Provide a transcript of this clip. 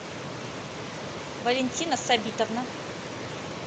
валентина сабитовна